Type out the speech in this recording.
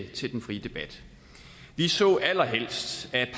til den frie debat vi så allerhelst at